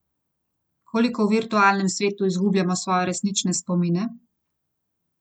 Koliko v virtualnem svetu izgubljamo svoje resnične spomine?